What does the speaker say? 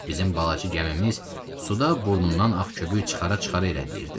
Bizim balaca gəmimiz suda burnundan ağ köpük çıxara-çıxara irəliləyirdi.